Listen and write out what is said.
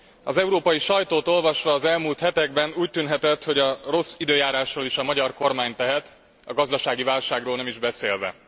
Az európai sajtót olvasva az elmúlt hetekben úgy tűnhetett, hogy a rossz időjárásról is a magyar kormány tehet, a gazdasági válságról nem is beszélve.